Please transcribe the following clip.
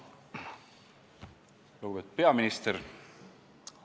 Lugupeetud peaminister!